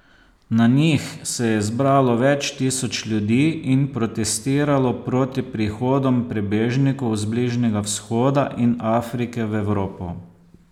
Na njih se je zbralo več tisoč ljudi in protestiralo proti prihodom prebežnikov z Bližnjega vzhoda in Afrike v Evropo.